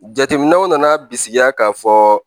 Jateminɛw nana bisikiya ka fɔ